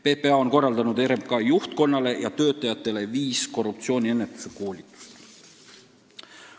PPA on korraldanud RMK juhtkonnale ja muudele töötajatele viis korruptsiooniennetuse koolitust.